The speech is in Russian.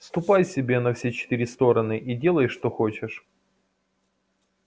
ступай себе на все четыре стороны и делай что хочешь